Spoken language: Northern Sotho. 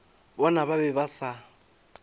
bona ba be ba sa